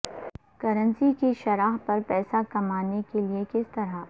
currency کی شرح پر پیسہ کمانے کے لئے کس طرح